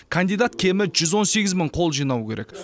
кандидат кемі жүз он сегіз мың қол жинау керек